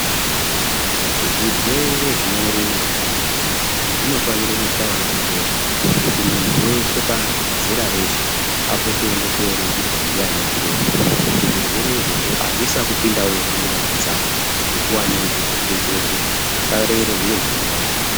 Zvirwere zvinorura zvinofana kuchaya pembera kuti muntu weshe pazera reshe apote eindoningirwa ndivana chiremba kuti zvirwere izvozvo azvisapinda munyama dzawo nguwa ngenguwa kuti asarera zviro zvinouraya.